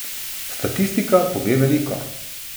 Statistika pove veliko.